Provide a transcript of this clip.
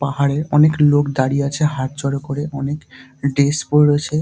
পাহাড়ে অনেক লোক দাঁড়িয়ে আছে হাত জোর করে অনেক ড্রেস পরে রয়েছে